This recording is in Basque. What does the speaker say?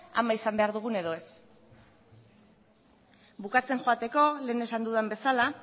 ama izan behar dugun edo ez bukatzen joateko lehen esan dudan bezala